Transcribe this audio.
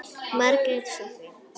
Margrét og Soffía.